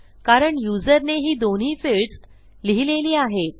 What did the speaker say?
कारण युजरने ही दोन्ही फील्ड्स लिहिलेली आहेत